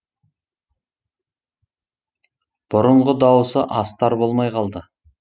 бұрынғы дауысы астар болмай қалды